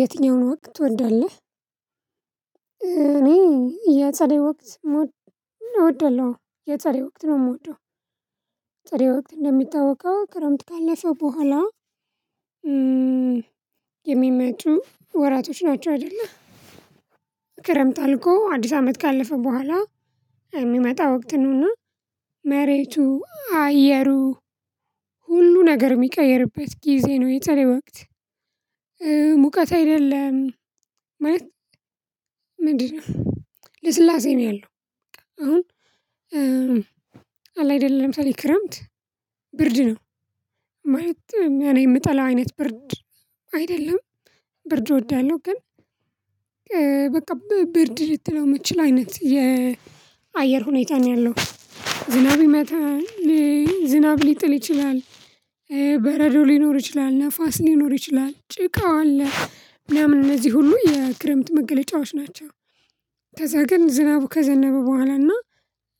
የትኛውን ወቅት ትወዳለህ እኔ የፀደይ ወቅት ሞድ እንወደለው የፀደይ ወቅት ነው የምወደው የፀደይ ወቅት እንደሚታወቀው ክረምት ካለፈ በኋላ የሚመጡ ወራቶች ናቸው አይደለ ክረምት አልቆ አዲስ አመት ካለፈ በኋላ የሚመጣ ወቅት ነውና መሬቱ አየሩ ሁሉ ነገር የሚቀየርበት ጊዜ ነው የተለየ ወቅት ሙቀት አይደለም ማለት ምንድነው ልስላሴ ነው ያለው አሁን አለ አይደለም ሰው ክረምት ብርድ ነው ማለት እኔ የምጠላው አይነት ብርድ አይደለም ብርድ እወዳለሁ ግን በቃ በብርድ ልትለው መችል አይነት የአየር ሁኔታ ነው ያለው ዝናብ ይመታል ዝናብ ሊጥል ይችላል በረዶ ሊኖር ይችላል ነፋስ ሊኖር ይችላል ጭቃው አለ ምናምን እነዚህ ሁሉ የክረምት መገለጫዎች ናቸ። ከዛ ግን ዝናቡ ከዘነበ በኋላ እና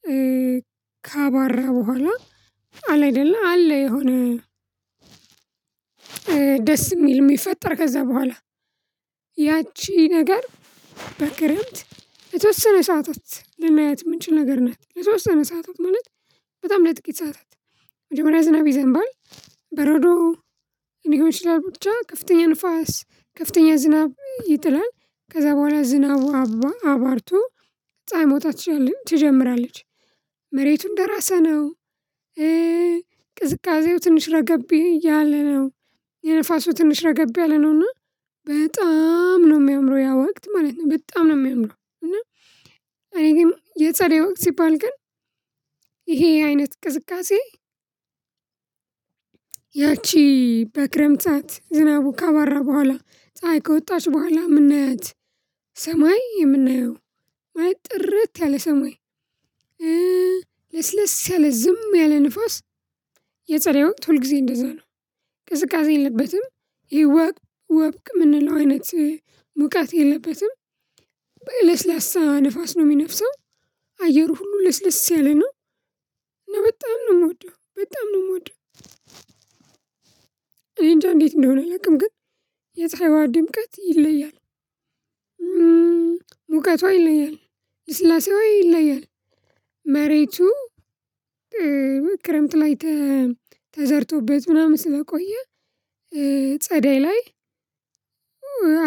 በኋላና ካባራ በኋላ አለ አይደለ አለ የሆነ ደስ የሚል የሚፈጠር ከዛ በኋላ ያቺ ነገር በክረምት የተወሰነ ሰዓታት ልናየት የምንችል ነገር ናት የተወሰነ ሰዓታት ማለት በጣም ለጥቂት ሰዓታት መጀመሪያ ዝናብ ይዘንባል በረዶ የኔ ሊሆን ይችላል ብቻ ከፍተኛ ንፋስ ከፍተኛ ዝናብ ይጥላል። ከዛ በኋላ ዝናቡ አባርቶ ፀሀይ መውጣት ትችላለች ትጀምራለች መሬቱን ደራሰ ነው ቅዝቃዜው ትንሽ ረገብ እያለ ነው የንፋሱ ትንሽ ረገብ ያለ ነው። እና በጣም ነው የሚያምረው ያ ወቅት ማለት ነው በጣም ነው የሚያምረው እና እኔ ግን የፀደይ ወቅት ሲባል ግን ይሄ አይነት ቅዝቃዜ ያቺ በክረምታት ዝናቡ ካባራ በኋላ ፀሀይ ከወጣች በኋላ ምን ነህ ሰማይ የምናየው አይ ጥርት ያለ ሰማይ ልስልስ ያለ ዝም ያለ ንፋስ የፀደይ ወቅት ሁል ጊዜ እንደዛ ነው ቅዝቃዜ የለበትም ይወቅ ወብቅ የምንለው አይነት ሙቃት የለበትም ንፋስ ነው የሚነፍሰው አየሩ ሁሉ ለስለስ ያለ ነው። እና በጣም ነው የምወደው በጣም ነው የምወደው እኔ እንጃ እንዴት እንደሆነ ልቅም ግን የፀሐይዋ ድምቀት ይለያል ሙቀቷ ይለያል ስላሴዋ ይለያል መሬቱ ክረምት ላይ ተዘርቶበት ምናምን ስለቆየ ጸደይ ላይ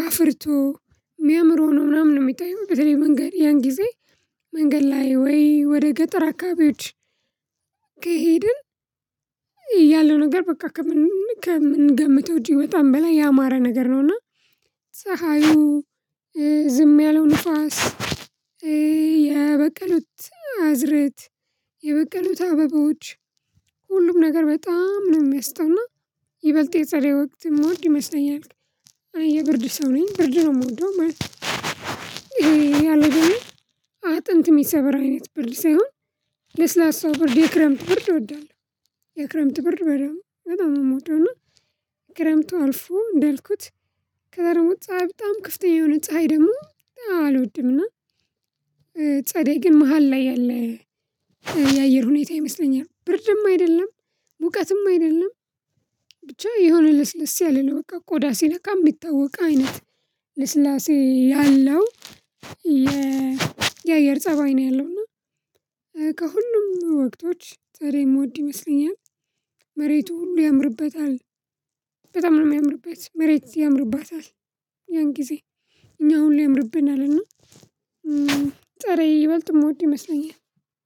አፍርቶ የሚያምር ሆኖ ነው ምናምን የሚታየው በተለይ መንገድ ያን ጊዜ መንገድ ላይ ወይ ወደ ገጠር አካባቢዎች ከሄድን ያለው ነገር በቃ ከምንገምተው እጅግ በጣም በላይ ያማረ ነገር ነውና ፀሀዩ ዝም ያለው ንፋስ የበቀሉት አዝርእት የበቀሉት አበባዎች ሁሉም ነገር በጣም ነው የሚያስተውና ይበልጥ የፀደይ ወቅት የምወድ ይመስለኛል አይ የብርድ ሰው ነኝ ብርድ ነው። የምወደው ማለት ነው ያለው አጥንት የሚሰበር አይነት ብርድ ሳይሆን ለስላሳው ብርድ የክረምት ብርድ እወዳለሁ የክረምት ብር በደንብ በጣም ነው የምወደው እና ክረምቱ አልፎ እንዳልኩት ከዛ ደግሞ ፀሀይ በጣም ክፍተኛ የሆነ ፀሀይ ደግሞ አልወድምና ጸደይ ግን መሃል ላይ ያለ የአየር ሁኔታ ይመስለኛል ብርድም አይደለም ሙቀትም አይደለም ብቻ የሆነ ልስልስ ያለ ነው በቃ ቆዳ ሲነካ የሚታወቅ አይነት ልስላሴ ያለው የአየር ፀባይ ነው ያለው እና ከሁሉም ወቅቶች ጸደይ የምወድ ይመስለኛል መሬቱ ሁሉ ያምርበታል በጣም ነው የሚያምርበት መሬት ያምርባታል ያን ጊዜ እኛ ሁሉ ያምርብን አለና ጸደይ ይበልጥ የምወድ ይመስለኛል